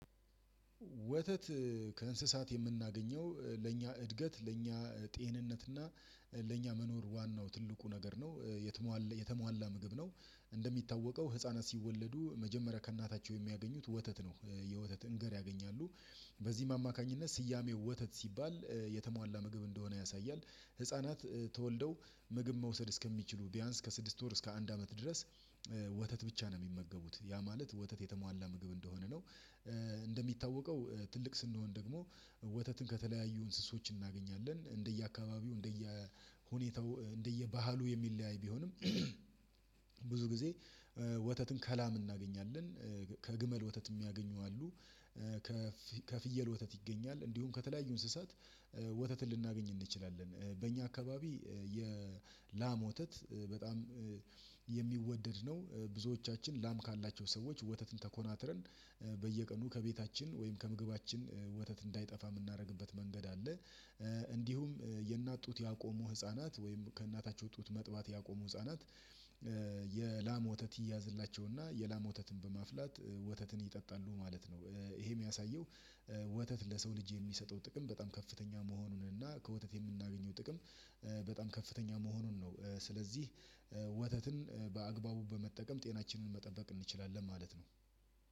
ወተት ከእንስሳት የምናገኘው ለእኛ እድገት ለእኛ ጤንነት እና ለእኛ መኖር ዋናው ትልቁ ነገር ነው የተሟላ ምግብ ነው። እንደሚታወቀው ህፃናት ሲወለዱ መጀመሪያ ከእናታቸው የሚያገኙት ወተት ነው። የወተት እንገር ያገኛሉ በዚህም አማካኝነት ስያሜው ወተት ሲባል የተሟላ ምግብ እንደሆነ ያሳያል። ህፃናት ተወልደው ምግብ መውሰድ እስከሚችሉ ቢያንስ ከስድስት ወር እስከ አንድ አመት ድረስ ወተት ብቻ ነው የሚመገቡት ያ ማለት ወተት የተሟላ ምግብ እንደሆነ ነው። እንደሚታወቀው ትልቅ ስንሆን ደግሞ ወተትን ከተለያዩ እንስሶች እናገኛለን እንደየአካባቢው እንደየሁኔታው እንደየባህሉ የሚለያይ ቢሆንም። ብዙ ጊዜ ወተትን ከላም እናገኛለን ከግመል ወተት የሚያገኙ አሉ። ከፍየል ወተት ይገኛል እንዲሁም ከተለያዩ እንስሳት ወተትን ልናገኝ እንችላለን። በእኛ አካባቢ የላም ወተት በጣም ነው ብዙዎቻችን ላም ካላቸው ሰዎች ወተትን ተኮናትረን በየቀኑ ከቤታችን ወይም ከምግባችን ወተት እንዳይጠፋ የምናደርግበት መንገድ አለ። እንዲሁም የእናት ጡት ያቆሙ ህፃናት ወይም ከእናታቸው ጡት መጥባት ያቆሙ ህፃናት የላም ወተት ይያዝላቸውና የላም ወተትን በማፍላት ወተትን ይጠጣሉ ማለት ነው። ይሄ የሚያሳየው ወተት ለሰው ልጅ የሚሰጠው ጥቅም በጣም ከፍተኛ መሆኑን እና ከወተት የምናገኘው ጥቅም በጣም ከፍተኛ መሆኑን ነው። ስለዚህ ወተትን በመጠቀም ጤናችንን መጠበቅ እንችላለን ማለት ነው።